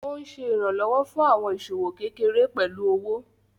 Ó ń Ṣe ìrànlọ́wọ́ fún àwọn ìṣòwò kékeré pẹ̀lú owó.